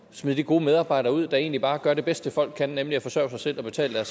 smide de gode medarbejdere ud der ikke bare gør det bedste folk kan nemlig forsørger sig selv og betaler